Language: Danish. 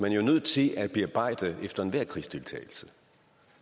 jo er nødt til at bearbejde efter enhver krigsdeltagelse